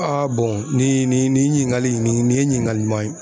nin nin nin ɲiningali in nin nin ye ɲiningali ɲuman ye